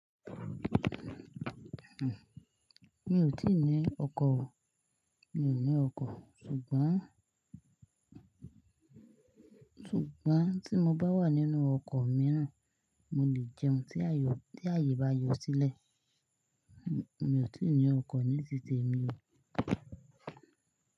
Mi ò tí ì ní ọkọ̀ o Mi ò ní ọkọ̀, ṣùgbọ́n, ṣùgb́ọn tí mo bá wà nínú ọkọ̀ mìíràn, mo lè jẹun tí ayé, tí ayé bá yọ sílẹ̀. Mi ò tí ì ní ọkọ̀ níti temì o.